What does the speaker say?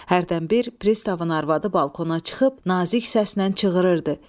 Hərdən bir pristavın arvadı balkona çıxıb nazik səslə çığırırdı.